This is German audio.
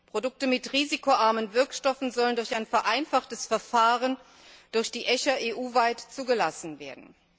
Produkte mit risikoarmen Wirkstoffen sollen durch ein vereinfachtes Verfahren durch die ECHA EU weit zugelassen werden.